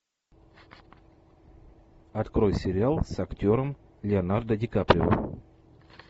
открой сериал с актером леонардо ди каприо